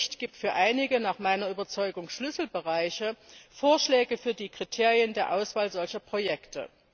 Der Bericht gibt für einige nach meiner Überzeugung Schlüsselbereiche Vorschläge für die Kriterien der Auswahl solcher Projekte.